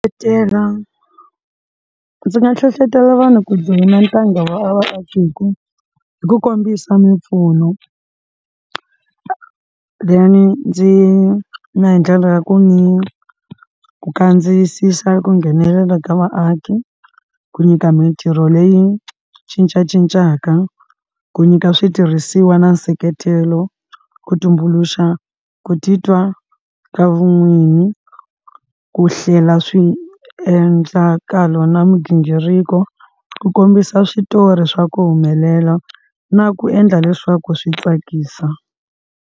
ndzi nga hlohlotela vanhu ku joyina ntanga wa vaakatiko hi ku hi ku kombisa mimpfuno then ndzi na hi ndlela ya ku ni ku kandziyisisa ku nghenelela ka vaaki ku nyika mintirho leyi cincacincaka ku nyika switirhisiwa na nseketelo ku tumbuluxa ku titwa ka vun'winyi ku hlela swiendlakalo na migingiriko ku kombisa switori swa ku humelela na ku endla leswaku swi tsakisa.